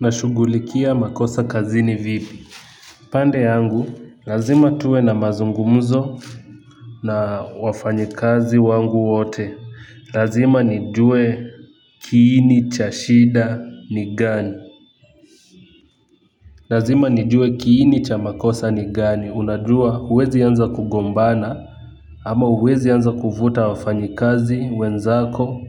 Nashughulikia makosa kazini vipi pande yangu lazima tuwe na mazungumzo na wafanyikazi wangu wote lazima nijue kiini cha shida ni gani lazima nijue kiini cha makosa ni gani unajua huwezi anza kugombana ama huwezi anza kufuta wafanyikazi wenzako.